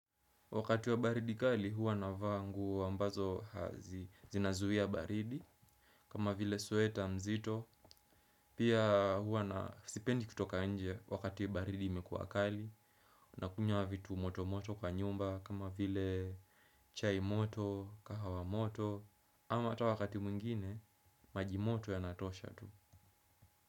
Wakati wa baridi kali huwa navaa nguo ambazo zinazuia baridi. Kama vile sweta mzito pia hua na sipendi kutoka nje wakati baridi imekuwa kali. Nakunywa vitu moto moto kwa nyumba. Kama vile chai moto, kahawa moto ama hata wakati mwingine, majimoto yanatosha tu.